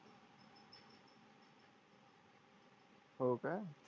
हो का?